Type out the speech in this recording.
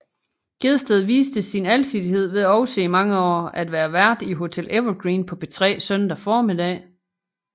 Gjedsted viste sin alsidighed ved også i mange år at være vært i Hotel Evergreen på P3 søndag formiddag